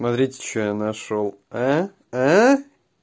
смотрите что я нашёл